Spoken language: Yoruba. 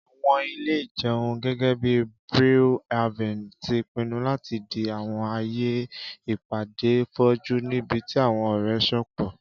Àwọn ile-ìjẹun, gẹgẹbi Brew Haven, ti pinnu lati di àwọn aaye ipade foju, nibiti àwọn ọrẹ sopọ